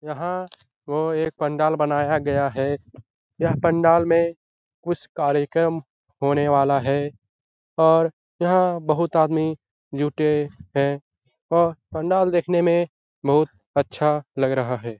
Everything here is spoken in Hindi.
यहाँ वो एक पंडाल बनाया गया है यह पंडाल में कुछ कार्यक्रम होने वाला है और यहां बहुत आदमी जुटे हैंऔर पंडाल देखने में बहुत अच्छा लग रहा है।